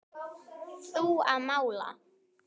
Þú að mála.